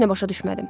Heç nə başa düşmədim.